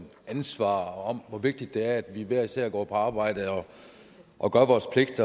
ansvar og om hvor vigtigt det er at vi hver især går på arbejde og gør vores pligt